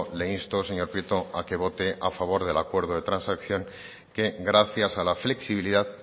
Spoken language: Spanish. le insto señor prieto a que vote a favor del acuerdo de transacción que gracias a la flexibilidad